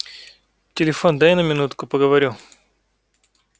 телефон дай на минутку поговорю